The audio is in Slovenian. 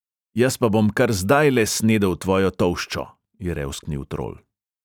"Jaz pa bom kar zdajle snedel tvojo tolščo," je revsknil trol.